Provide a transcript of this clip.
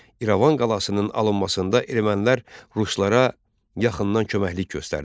İrəvan qalasının alınmasında ermənilər ruslara yaxından köməklik göstərdilər.